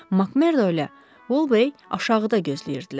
Makmerdo ilə Volbey aşağıda gözləyirdilər.